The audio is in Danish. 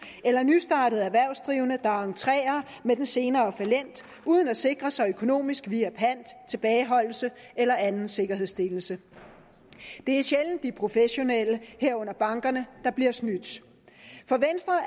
eller nystartede erhvervsdrivende der entrerer med den senere fallent uden at sikre sig økonomisk via pant tilbageholdelse eller anden sikkerhedsstillelse det er sjældent de professionelle herunder bankerne der bliver snydt for venstre